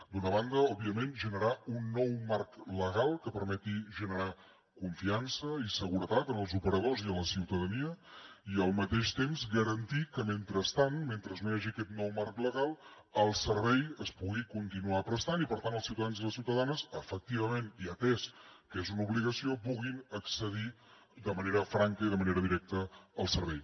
d’una banda òbviament generar un nou marc legal que permeti generar confiança i seguretat en els operadors i a la ciutadania i al mateix temps garantir que mentrestant mentre no hi hagi aquest nou marc legal el servei es pugui continuar prestant i per tant els ciutadans i les ciutadanes efectivament i atès que és una obligació puguin accedir de manera franca i de manera directa al servei